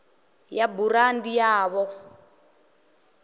ya burandi ya v o